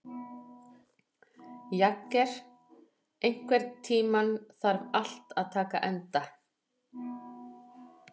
Jagger, einhvern tímann þarf allt að taka enda.